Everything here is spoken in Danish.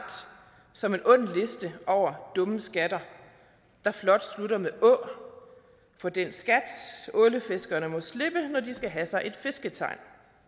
som en ond liste over dumme skatter der flot slutter med å for den skat ålefiskerne må slippe når de skal have sig et fisketegn